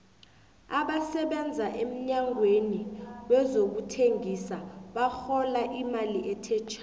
abasebenza emnyangweni wezokuthengisa barhola imali ethe thja